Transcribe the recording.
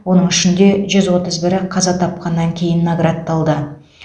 оның ішінде жүз отыз бірі қаза тапқаннан кейін наградталды